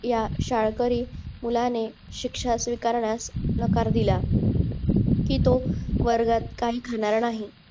या शाळकरी मुलाने शिक्षा स्विकारण्यास नकार दिला की तो वर्गात काही खाणार नाही